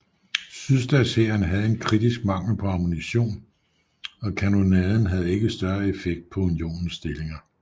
Sydstatshæren havde en kritisk mangel på ammunition og kanonaden havde ikke større effekt på Unionens stillinger